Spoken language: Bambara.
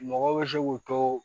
Mɔgɔw bɛ se k'u to